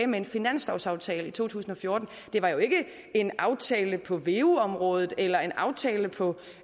med finanslovsaftalen i to tusind og fjorten det var jo ikke en aftale på veu området eller en aftale på